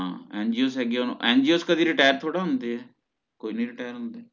ਹਾਂ NGOs ਹੇਗੀ ਆ NGOs ਕਦੇ retire ਥੋੜ੍ਹਾ ਹੁੰਦੇ ਏ ਕੋਈ ਨੀ retire ਹੁੰਦੇ